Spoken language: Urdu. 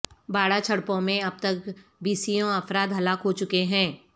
باڑہ چھڑپوں میں اب تک بیسیوں افراد ہلاک ہو چکے ہیں